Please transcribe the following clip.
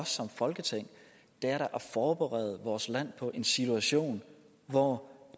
som folketing er da at forberede vores land på en situation hvor